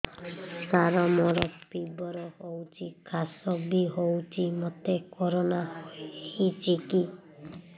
ସାର ମୋର ଫିବର ହଉଚି ଖାସ ବି ହଉଚି ମୋତେ କରୋନା ହେଇଚି କି